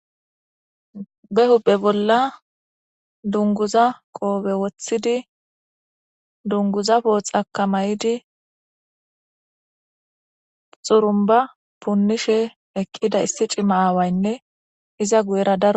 be hupe bolla dunguza qoobe woththidi dunguza pooxakamaydi xurumba punnishe eqqida issi cimma aawaynne iza guyera da